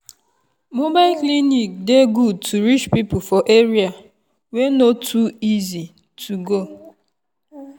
mobile clinic dey good to reach people for area wey no too easy to go.